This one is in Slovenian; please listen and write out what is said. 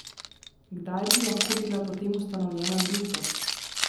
Kdaj bi lahko bila potem ustanovljena družba?